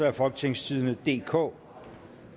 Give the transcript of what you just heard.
af folketingstidende DK